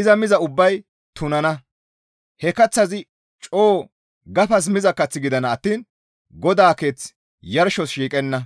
iza miza ubbay tunana. He kaththazi coo gafas miza kath gidana attiin GODAA keeth yarshos shiiqenna.